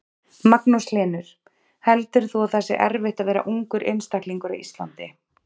Magnús Hlynur: Heldur þú að það sé erfitt að vera ungur einstaklingur á Íslandi?